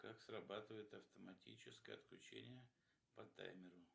как срабатывает автоматическое отключение по таймеру